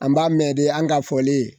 An b'a mɛn de an ka fɔlen